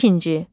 İkinci.